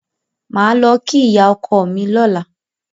Màá lọ kí ìyá ọkọ mi lọ́la.